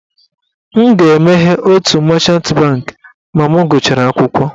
M ga-emeghe otu machant bankị ma m gụchara akwụkwọ.